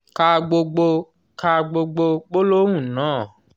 ka gbogbo ka gbogbo gbólóhùn náà...